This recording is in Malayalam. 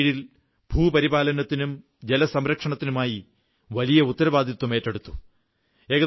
എയുടെ കീഴിൽ ഭൂപരിപാലനത്തിനും ജലസംരക്ഷണത്തിനുമായി വലിയ ഉത്തരവാദിത്തം ഏറ്റെടുത്തു